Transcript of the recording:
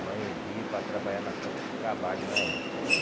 No Anhembi para trabalhar na frente de trabalho na época, né?